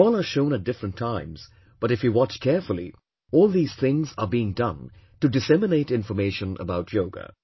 They all are shown at different times, but if you watch carefully, all these things are being done to disseminate information about Yoga